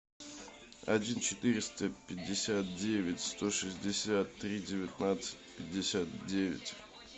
один четыреста пятьдесят девять сто шестьдесят три девятнадцать пятьдесят девять